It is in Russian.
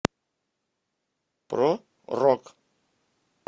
про рок